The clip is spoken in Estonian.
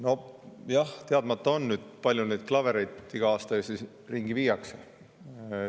Nojah, teadmata on, kui palju neid klavereid iga aasta viiakse.